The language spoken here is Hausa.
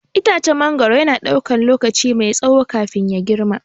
Itacen mangwaro yana ɗaukar lokaci mai tsawo kafin ya girma.